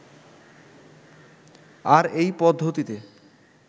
আর এই পদ্ধতিতে